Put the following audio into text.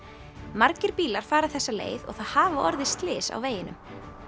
margir bílar fara þessa leið og það hafa orðið slys á veginum